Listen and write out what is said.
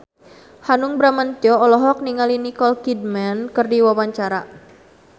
Hanung Bramantyo olohok ningali Nicole Kidman keur diwawancara